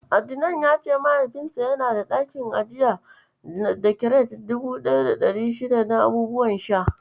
Adnan ya ce Mahaifinsa yana da ɗakin ajiya da kiret 1600 na abubuwan sha.